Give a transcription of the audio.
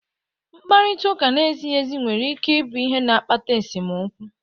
Mkparịta ụka na-ezighị ezi nwere ike ịbụ ihe na-akpata esemokwu.